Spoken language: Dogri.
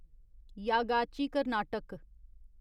यागाची कर्नाटक